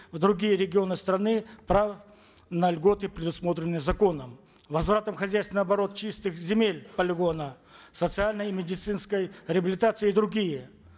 в другие регионы страны право на льготы предусмотренные законом возвратом в хозяйственный оборот чистых земель полигона социальной и медицинской реабилитацией и другие